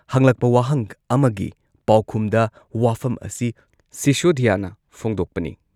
ꯍꯪꯂꯛꯄ ꯋꯥꯍꯪ ꯑꯃꯒꯤ ꯄꯥꯎꯈꯨꯝꯗ ꯋꯥꯐꯝ ꯑꯁꯤ ꯁꯤꯁꯣꯗꯤꯌꯥꯅ ꯐꯣꯡꯗꯣꯛꯄꯅꯤ ꯫